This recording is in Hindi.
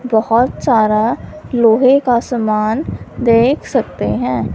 बहुत सारा लोहे का समान देख सकते हैं।